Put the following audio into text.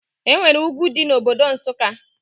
Enwere ugwu dị na Obodo Nsụka